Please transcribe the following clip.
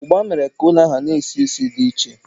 ugba was the food spice that filled the house with a strange smell